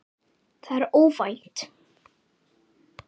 Það er óvænt.